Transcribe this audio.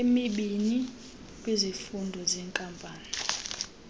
emibini kwizifundo zeenkampani